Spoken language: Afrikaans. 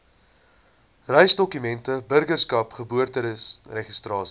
reisdokumente burgerskap geboorteregistrasie